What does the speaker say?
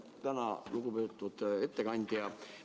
Tänan, lugupeetud ettekandja!